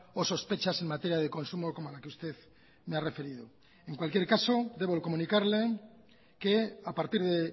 o sospechas en materia de consumo como la que usted me ha referido en cualquier caso debo comunicarle que a partir de